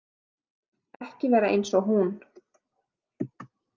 Ekki vera eins og hún.